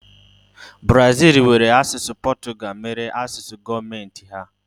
Brazil were asụsụ Portugal mere asụsụ gọọmenti ha.